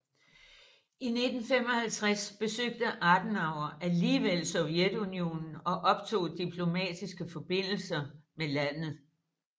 I 1955 besøgte Adenauer alligevel Sovjetunionen og optog diplomatiske forbindelser med landet